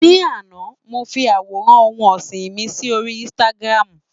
Ní àná, mo fi àwòrán ohun ọ̀sìn mi sí orí Instagram.